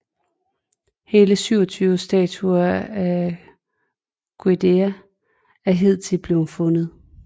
Hele 27 statuer af Gudea er hidtil blevet fundet